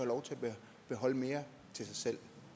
lov til at beholde mere til sig selv